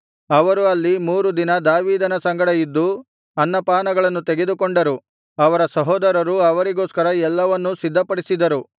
ಅವರು ಅಲ್ಲಿ ಮೂರು ದಿನ ದಾವೀದನ ಸಂಗಡ ಇದ್ದು ಅನ್ನ ಪಾನಗಳನ್ನು ತೆಗೆದುಕೊಂಡರು ಅವರ ಸಹೋದರರು ಅವರಿಗೋಸ್ಕರ ಎಲ್ಲವನ್ನೂ ಸಿದ್ಧಪಡಿಸಿದರು